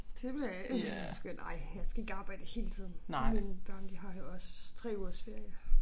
Så det bliver rimelig skønt ej jeg skal ikke arbejde hele tiden mine børn de har jo også 3 ugers ferie